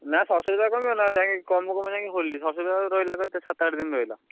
ନା ସରସ୍ୱତୀ ପୂଜାରେ କମିବ ନା ଯାଇ କମୁ କମୁ ଯାଇ ହୋଲି ସରସ୍ୱତୀ ପୂଜାକୁ ରହିଲା କେତେ? ସାତ ଆଠ ଦିନ ରହିଲା।